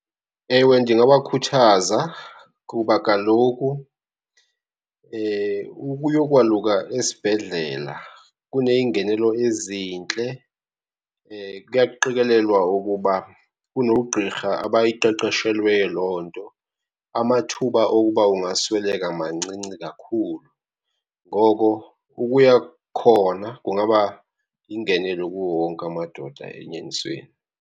Ewe ndingabakhuthaza kuba kaloku ukuyokwaluka esibhedlela kuneyingenelo ezintle, kuyaqikelelwa ukuba kunoogqirha abayiqeqeshelweyo loo nto. Amathuba okuba ungasweleka mancinci kakhulu. Ngoko ukuya khona kungaba yingenelo kuwo wonke amadoda enyanisweni.